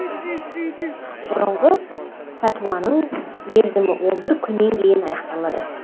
бұрынғы пәтуаның мерзімі он бір күннен кейін аяқталады